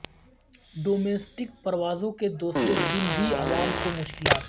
domestic پروازوں کے دوسرے دن بھی عوام کو مشکلات